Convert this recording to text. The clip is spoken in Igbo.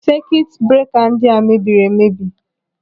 Sekit breka ndị a mebiri emebi.